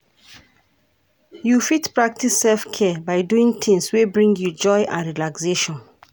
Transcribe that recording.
You fit practice self-care by doing tings wey bring you joy and relaxation.